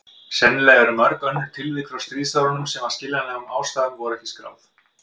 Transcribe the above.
Sennilega eru mörg önnur tilvik frá stríðsárunum sem af skiljanlegum ástæðum voru ekki skráð.